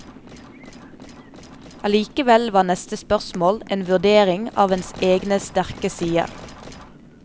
Allikevel var neste spørsmål en vurdering av ens egne sterke sider.